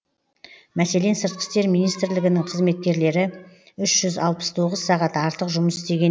мәселен сыртқы істер министрлігінің қызметкерлері үш жүз алпыс тоғыз сағат артық жұмыс істеген